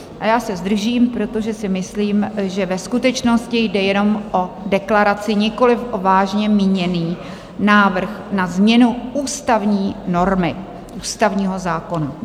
A já se zdržím, protože si myslím, že ve skutečnosti jde jenom o deklaraci, nikoliv o vážně míněný návrh na změnu ústavní normy, ústavního zákona.